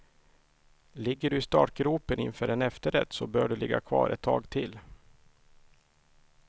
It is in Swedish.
Ligger du i startgropen inför en efterrätt så bör du ligga kvar ett tag till.